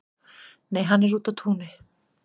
Nei, hann er úti á túni